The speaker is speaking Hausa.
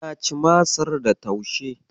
Na ci Masar da taushe.